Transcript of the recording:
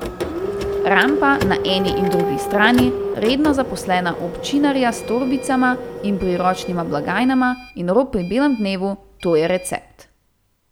Rampa na eni in drugi strani, redno zaposlena občinarja s torbicama in priročnima blagajnama in rop pri belem dnevu, to je recept.